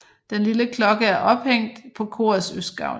Den lille klokke er ophængt på korets østgavl